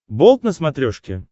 болт на смотрешке